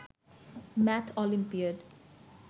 math olympiad